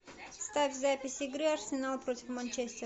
ставь запись игры арсенал против манчестер